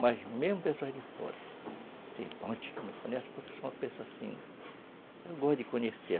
Mas mesmo pessoas de fora, tem um monte que me conhece, porque eu sou uma pessoa assim... Eu gosto de conhecer.